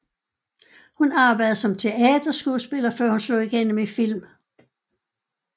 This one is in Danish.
Hun arbejdede som teaterskuespiller før hun slog igennem i film